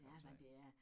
Jamen det er